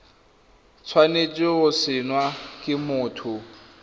tshwanetse go saenwa ke motho